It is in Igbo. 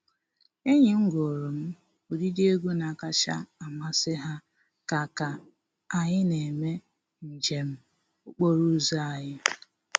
Enyi m gụụrụ m ụdịdị egwu na-akacha amasị ha ka ka anyị na-eme njem okporo ụzọ anyị.